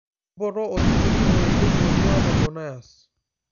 mpoto osinkiri oelieki oing'uaa debonairs